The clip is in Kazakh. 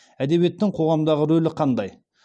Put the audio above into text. әдебиеттің қоғамдағы рөлі қандай